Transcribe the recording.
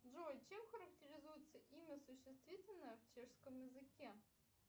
джой чем характеризуется имя существительное в чешском языке